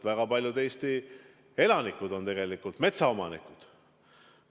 Väga paljud Eesti elanikud on tegelikult metsaomanikud.